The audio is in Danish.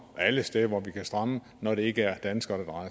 alle steder hvor der kan strammes når det ikke er danskere